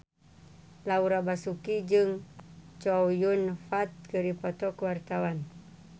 Laura Basuki jeung Chow Yun Fat keur dipoto ku wartawan